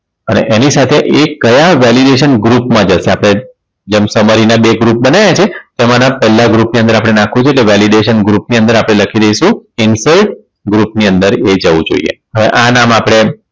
અને એની સાથે એ કયા validation group માટે છે આપણે જેમ summary ના બે group બનાયા છે તેમાંના પેલા group ની અંદર આપણે નાખવુ છે એટલે validation ની અંદર આપણે લખી દઈશું insert group ની અંદર એ જવું જોઈએ હવે આ નામ આપણે